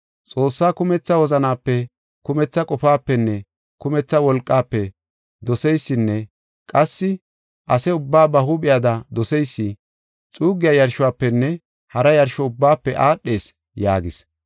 Xoossaa kumetha wozanape, kumetha qofaapenne kumetha wolqaafe doseysinne qassi ase ubbaa ba huuphiyada doseysi, xuussa yarshofenne hara yarsho ubbaafe aadhees” yaagis.